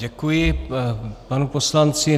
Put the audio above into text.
Děkuji panu poslanci.